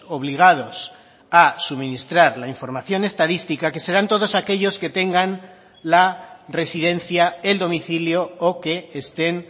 obligados a suministrar la información estadística que serán todos aquellos que tengan la residencia el domicilio o que estén